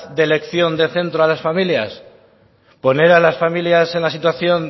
de elección de centro a las familias poner a las familias en la situación